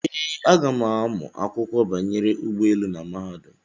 Ee, aga m amụ akwụkwọ banyere ụgbọelu na mahadum.